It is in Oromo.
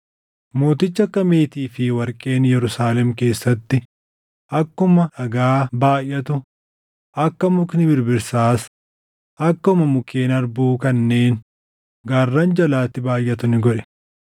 Mootichi akka meetii fi warqeen Yerusaalem keessatti akkuma dhagaa baayʼatu, akka mukni birbirsaas akkuma mukkeen harbuu kanneen gaarran jalaatti baayʼatu ni godhe.